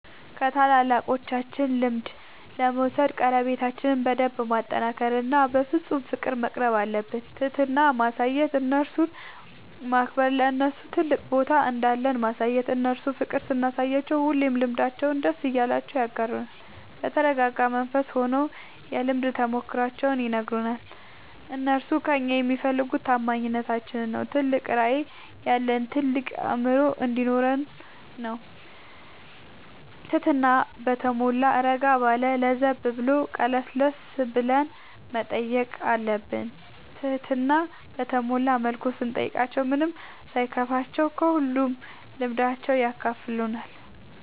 ከታላላቆቻችን ልምድ ለመውሰድ ቀረቤታችን በደንብ ማጠናከር እና በፍፁም ፍቅር መቅረብአለብን። ትህትና ማሳየት እነርሱን ማክበር ለነርሱ ትልቅ ቦታ እንዳለን ማሳየት እነርሱ ፍቅር ስናሳያቸው ሁሉንም ልምዳቸውን ደስ እያላቸው ያጋሩናል። በተረጋጋ መንፈስ ሆነው የልምድ ተሞክሯቸውን ይነግሩናል። እነርሱ ከእኛ የሚፈልጉ ታማኝነታችን ነው ትልቅ ራዕይ ያለን ታልቅ አእምሮ እንዲኖረን ነው ትህትና በተሟላ እረጋ ባለ ለዘብ ብሎ ቀለስለስ ብለን መጠየቅ አለብን ትህትና በተሞላ መልኩ ስንጠይቃቸው ምንም ሳይከፋቸው ከሁሉም ልምዳቸው ያካፍሉናል።